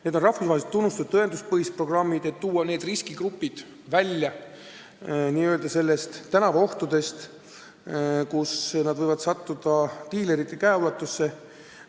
Need on rahvusvaheliselt tunnustatud tõenduspõhised programmid, mis aitavad tuua riskigrupid välja sellest n-ö tänavaohust, et nad võivad sattuda diilerite käeulatusse.